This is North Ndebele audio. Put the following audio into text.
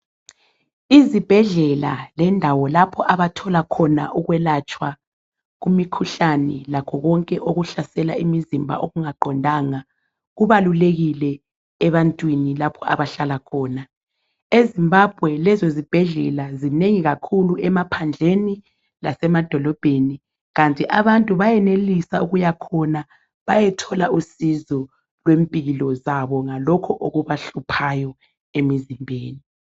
Izibhedlela lendawo lapho abathola khona ukwelatshwa kumikhuhlane lakho konke okuhlasela imizimba okungaqondanga kubalulekile ebantwini lapha abahlala khona eZimbabwe lezozibhedlela zinengi kakhulu emaphandleni lasemadolobheni kanti abantu beyenelisa ukuya khona bayethola usizo kwempilo zabo ngalokhu okubahluphayo emizimbeni.